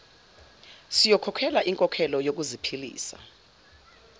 siyokhokhelwa inkokhelo yokuziphilisa